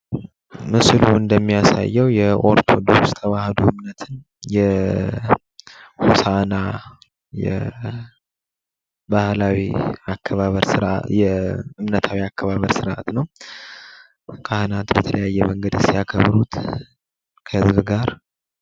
ምስሉ እንደሚያሳየው የኦርቶዶክስ ተዋህዶ እምነትን የሆሳ እና እምነታዊ አከባበር ስርዓት ነው፤ ካህናት በተለያየ መንገድ ሲያከብሩት ከህዝብ ጋር የሚያሳይ ምስል ነው።